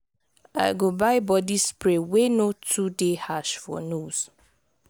i go buy body spray wey no too dey harsh for nose.